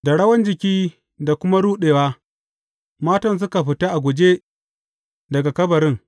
Da rawan jiki da kuma ruɗewa, matan suka fita a guje daga kabarin.